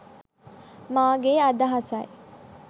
මාගේ අදහසයි